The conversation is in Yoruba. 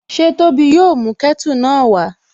Ṣé Tóbi yóò mú kẹ́tù náà wá?